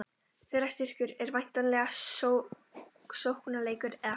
Þeirra styrkur er væntanlega sóknarleikurinn, eða hvað?